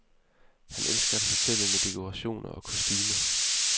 Han elsker at fortælle med dekorationer og kostumer.